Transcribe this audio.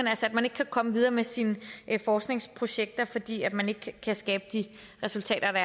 altså at man ikke kan komme videre med sine forskningsprojekter fordi man ikke kan skabe de resultater der